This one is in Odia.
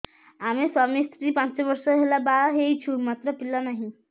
ଆମେ ସ୍ୱାମୀ ସ୍ତ୍ରୀ ପାଞ୍ଚ ବର୍ଷ ହେଲା ବାହା ହେଇଛୁ ମାତ୍ର ପିଲା ନାହିଁ